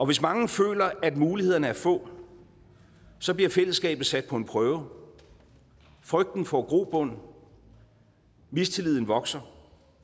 hvis mange føler at mulighederne er få så bliver fællesskabet sat på en prøve frygten får grobund mistilliden vokser